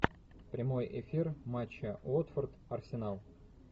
прямой эфир матча уотфорд арсенал